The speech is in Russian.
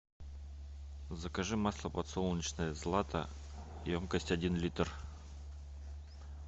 закажи масло подсолнечное злата емкость один литр